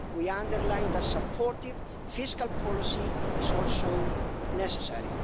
We underline that supportive fiscal policy is also necessary.